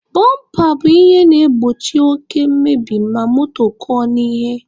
Bọmpa bụ ihe na-egbochi oke mmebi ma moto kụọ n'ihe.